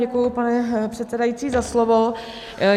Děkuji, pane předsedající, za slovo.